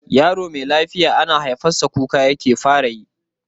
Yaro me lafiya ana haifar sa kuka yake fara yi.